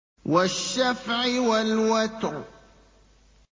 وَالشَّفْعِ وَالْوَتْرِ